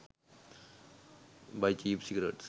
buy cheap cigarettes